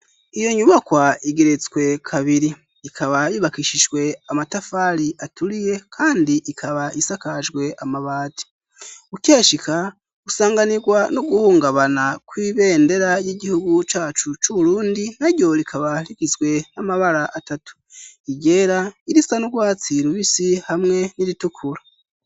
Iyo nyubakwa igeretswe kabiri, ikaba yubakishishwe amatafari aturiye, kandi ikaba isakajwe amabati, ukeshika gusanganirwa no guhungabana kw'ibendera y'igihugu cacu c'urundi, naryo rikaba hikizwe n'amabara atatu igera irisa n'urwatsi rubisi hamwe n'iritukura.